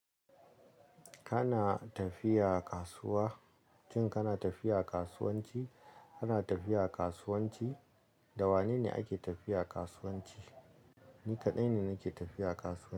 Kana tafiya kasuwa? Shin kana tafiya kasuwanci? Kana tafiya kasuwanci? Da wane ne ake tafiya kasuwanci? Ni kaɗai ne nake tafiya kasuwanci.